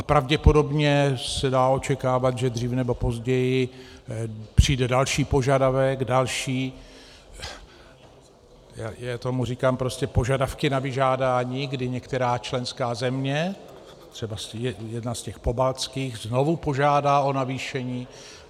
A pravděpodobně se dá očekávat, že dřív nebo později přijde další požadavek, další - já tomu říkám prostě požadavky na vyžádání, kdy některá členská země, třeba jedna z těch pobaltských, znovu požádá o navýšení.